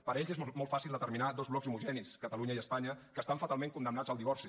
per ells és molt fàcil determinar dos blocs homogenis catalunya i espanya que estan fatalment condemnats al divorci